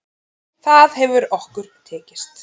Það hefur okkur tekist.